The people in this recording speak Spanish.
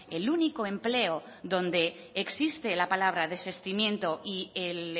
el único empleo donde existe la palabra desistimiento y el